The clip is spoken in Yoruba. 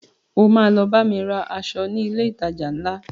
O ma lọ bámi ra aṣọ ní ilé ìtajà ńlá